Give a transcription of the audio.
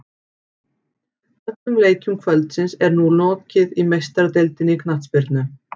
Öllum leikjum kvöldsins er nú lokið í Meistaradeildinni í knattspyrnu.